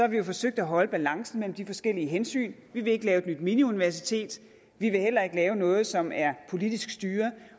vi jo forsøgt at holde balancen mellem de forskellige hensyn vi vil ikke lave et nyt miniuniversitet vi vil heller ikke lave noget som er politisk styret